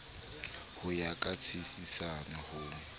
ho ya ka tshisinyo ho